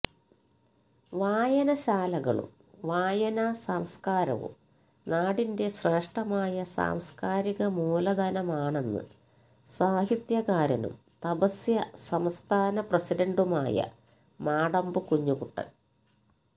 വായനശാലകളും വായനാ സംസ്കാരവും നാടിന്റെ ശ്രേഷ്ഠമായ സാംസ്കാരിക മൂലധനമാണെന്ന് സാഹിത്യകാരനും തപസ്യ സംസ്ഥാന പ്രസിഡന്റുമായ മാടമ്പ് കുഞ്ഞുകുട്ടന്